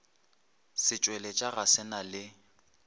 setšweletša ga se na le